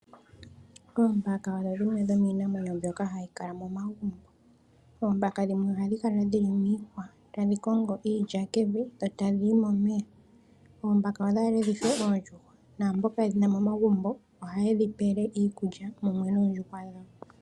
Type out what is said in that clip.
Oombaka odho dhimwe dhomiinamwenyo mboka hayi kala momagumbo, oombaka dhimwe ohadhi kala dhili miihwa tadhi kongo iilya mevi dho ta dhiyi momeya. Oombaka odhaale dhife oondjuhwa, naamboka yedhina momagumbo ohaye dhipele iikulya mumwe noondjuhwa dhawo.